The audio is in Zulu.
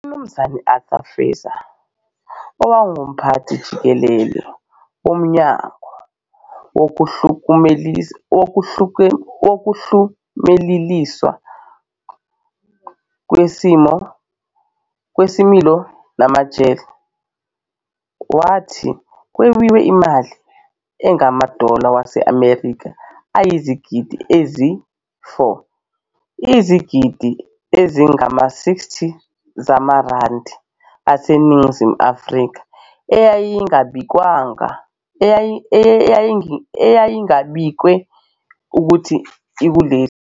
UMnumzane Arthur Fraser, owangumphathi-jikelele womnyango wokuhlumeleliswa kwesimilo namajele wathi kwebiwa imali engamadola waseMelika ayizigidi ezi-4, izigidi ezingama-60 zamarandi aseNingizimu afrika, eyayingabikiwe ukuthi ikuleli.